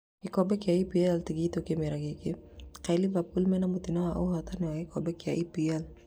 Gĩkombe kĩa EPL tigitũ kĩmera gĩkĩ, kaĩ Liverpool mena mũtino wa ũhotani wa Gĩkombe kĩa EPL?